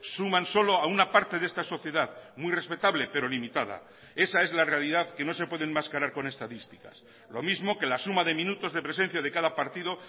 suman solo a una parte de esta sociedad muy respetable pero limitada esa es la realidad que no se puede enmascarar con estadísticas lo mismo que la suma de minutos de presencia de cada partido